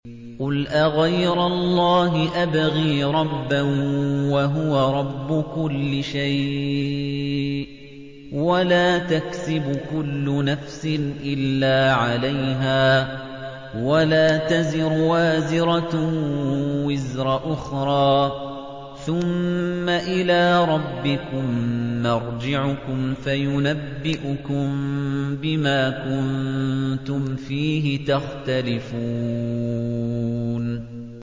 قُلْ أَغَيْرَ اللَّهِ أَبْغِي رَبًّا وَهُوَ رَبُّ كُلِّ شَيْءٍ ۚ وَلَا تَكْسِبُ كُلُّ نَفْسٍ إِلَّا عَلَيْهَا ۚ وَلَا تَزِرُ وَازِرَةٌ وِزْرَ أُخْرَىٰ ۚ ثُمَّ إِلَىٰ رَبِّكُم مَّرْجِعُكُمْ فَيُنَبِّئُكُم بِمَا كُنتُمْ فِيهِ تَخْتَلِفُونَ